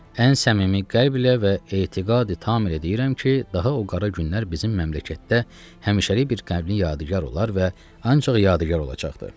Ən səmimi qəlblə və etiqadi tam ilə deyirəm ki, daha o qara günlər bizim məmləkətdə həmişəlik bir qəbnin yadigar olar və ancaq yadigar olacaqdır.